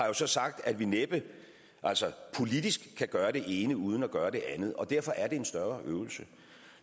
jo så sagt at vi næppe altså politisk kan gøre det ene uden at gøre det andet og derfor er det en større øvelse